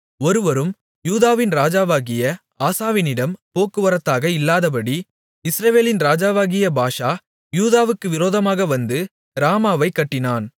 ஒருவரும் யூதாவின் ராஜாவாகிய ஆசாவினிடம் போக்குவரத்தாக இல்லாதபடி இஸ்ரவேலின் ராஜாவாகிய பாஷா யூதாவுக்கு விரோதமாக வந்து ராமாவைக் கட்டினான்